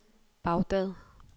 Baghdad